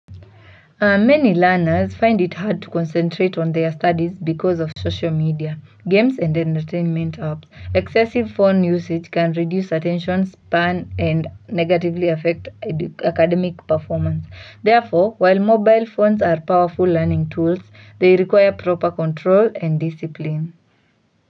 Many learners find it hard to concentrate on their studies because of social media, games and entertainment apps. Excessive phone usage can reduce attention span and negatively affect academic performance. Therefore, while mobile phones are powerful learning tools, they require proper control and discipline.